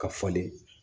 Ka falen